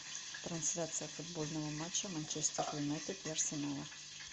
трансляция футбольного матча манчестер юнайтед и арсенала